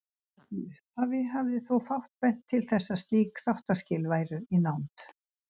Í upphafi hafði þó fátt bent til þess að slík þáttaskil væru í nánd.